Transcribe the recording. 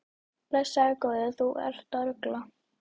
Blessaður góði, þú ert að rugla!